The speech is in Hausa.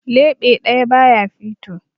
Leɓe ɗaya ba ya fito.